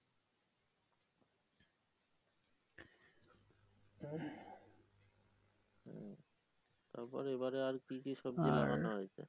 তারপরে এইবারে আর কি কি সবজি